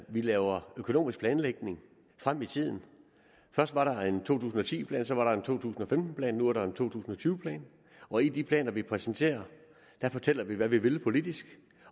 vi laver økonomisk planlægning frem i tiden først var der en to tusind og ti plan så var der en to tusind og femten plan nu er der en to tusind og tyve plan og i de planer vi præsenterer fortæller vi hvad vi vil politisk